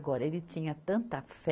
Agora, ele tinha tanta fé.